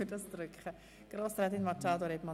Das Wort hat Grossrätin Machado Rebmann.